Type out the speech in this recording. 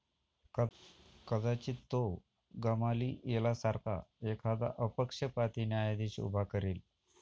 कदाचित तो गमालिएलासारखा एखादा अपक्षपाती न्यायाधीश उभा करेल.